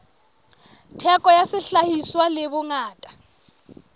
theko ya sehlahiswa le bongata